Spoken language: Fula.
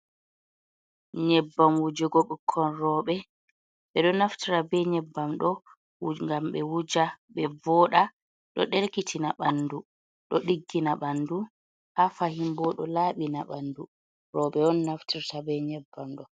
Nyebbam wujugo ɓikkon roɓɓe ɓeɗo naftira be nyebbam ɗo gam ɓe wuja ɓe voɗa ɗo ɗelkitina b ɓandu, ɗo ɗiggina ɓandu, ha fahin bo ɗo laɓina ɓandu, roɓɓe on naftirta be nyebbam.